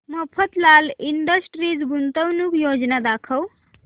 Mafatlal industries गुंतवणूक योजना दाखव